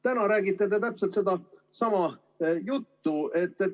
Täna räägite te ise täpselt sedasama juttu.